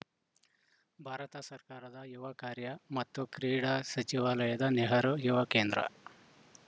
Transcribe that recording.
ಭಾರತ ಸರ್ಕಾರದ ಯುವ ಕಾರ್ಯ ಮತ್ತು ಕ್ರೀಡಾ ಸಚಿವಾಲಯದ ನೆಹರು ಯುವ ಕೇಂದ್ರ